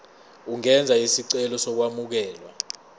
ungenza isicelo sokwamukelwa